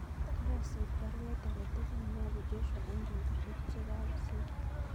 Karasich baruet age tugul neyobu Joshua en petusiek chegagosir